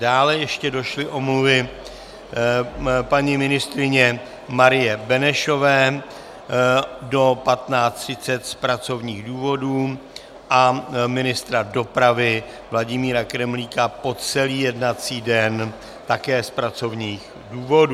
Dále ještě došly omluvy paní ministryně Marie Benešové do 15.30 z pracovních důvodů a ministra dopravy Vladimíra Kremlíka po celý jednací den také z pracovních důvodů.